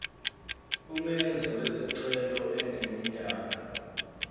umenzi wesicelo eneminyaka